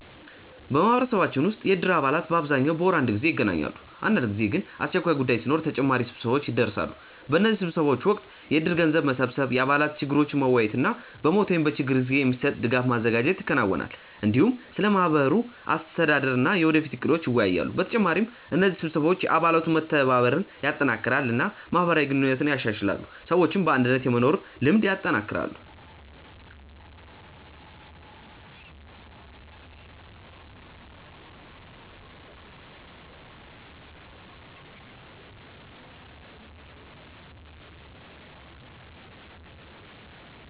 በማህበረሰባችን ውስጥ የእድር አባላት በአብዛኛው በወር አንድ ጊዜ ይገናኛሉ። አንዳንድ ጊዜ ግን አስቸኳይ ጉዳይ ሲኖር ተጨማሪ ስብሰባዎች ይደርሳሉ። በእነዚህ ስብሰባዎች ወቅት የእድር ገንዘብ መሰብሰብ፣ የአባላት ችግሮችን መወያየት እና በሞት ወይም በችግር ጊዜ የሚሰጥ ድጋፍ ማዘጋጀት ይከናወናል። እንዲሁም ስለ ማህበሩ አስተዳደር እና የወደፊት እቅዶች ይወያያሉ። በተጨማሪ እነዚህ ስብሰባዎች የአባላት መተባበርን ያጠናክራሉ እና ማህበራዊ ግንኙነትን ያሻሽላሉ፣ ሰዎችም በአንድነት የመኖር ልምድ ያጠናክራሉ።